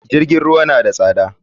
JIrgin ruwa na da tsada.